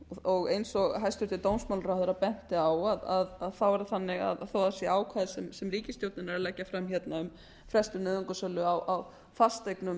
og eins og hæstvirtur dómsmálaráðherra benti á þá er það þannig að þó að það séu ákvæði sem ríkisstjórnin er að leggja fram um frestun nauðungarsölu á fasteignum